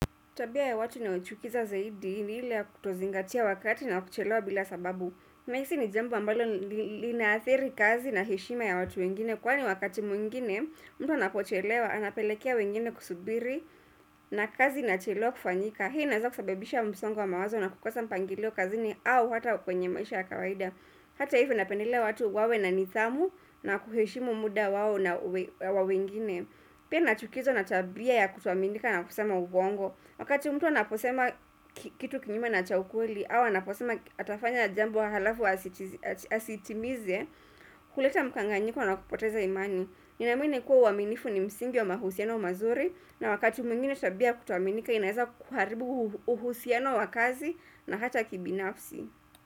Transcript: Tabia ya watu inayochukiza zaidi ni ile ya kutozingatia wakati na kuchelewa bila sababu. Nahisi ni jambo ambalo linaathiri kazi na heshima ya watu wengine. Kwani wakati mwingine, mtu anapochelewa, anapelekea wengine kusubiri na kazi inachelewa kufanyika. Hii inaeza kusabibisha msongo wa mawazo na kukosa mpangilio kazini au hata kwenye maisha ya kawaida. Hata hivyo napendelea watu wawe na nidhamu na kuheshimu muda wao na wa wengine. Pia nachukizwa na tabia ya kutoaminika na kusema uongo. Wakati mtu anaposema kitu kinyume na cha ukweli au anaposema atafanya jambo halafu asitimize, huleta mkanganyiko na kupoteza imani. Ninaamini kuwa uaminifu ni msingi wa mahusiano mazuri na wakati mwingine tabia kutoaminika inaeza kuharibu uhusiano wa kazi na hata kibinafsi.